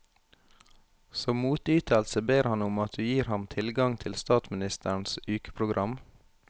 Som motytelse ber han om at du gir ham tilgang til statsministerens ukeprogram.